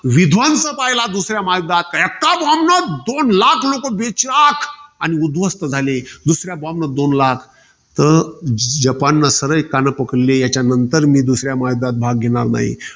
विध्वंस पहिला दुसऱ्या महायुद्धात. एका bomb नं दोन लाख लोकं बेचिराख. अन उध्वस्त झाले. अन दुसऱ्या bomb नं दोन लाख. तर जपानने सरळ कान पकडले. याच्यानंतर मी दुसऱ्या महायुद्धात भाग घेणार नाही.